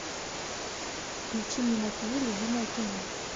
включи мне на тв любимое кино